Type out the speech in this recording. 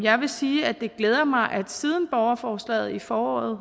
jeg vil sige at det glæder mig at siden borgerforslaget i foråret